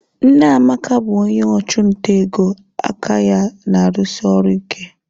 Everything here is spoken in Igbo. Nne Amaka bụ onye ọchụnta ego aka ya na-arụsi ọrụ ike.